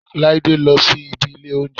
Láídé lọ sí ibi ilé óúnjẹ